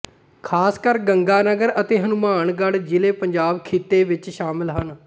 ਖ਼ਾਸਕਰ ਗੰਗਾਨਗਰ ਅਤੇ ਹਨੂੰਮਾਨਗੜ੍ਹ ਜਿੱਲ੍ਹੇ ਪੰਜਾਬ ਖਿੱਤੇ ਵਿੱਚ ਸ਼ਾਮਲ ਹਨ